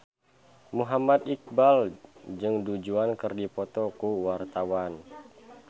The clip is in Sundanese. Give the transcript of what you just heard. Muhammad Iqbal jeung Du Juan keur dipoto ku wartawan